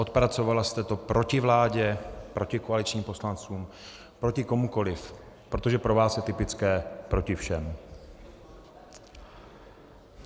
Odpracovala jste to proti vládě, proti koaličním poslancům, proti komukoliv, protože pro vás je typické proti všem.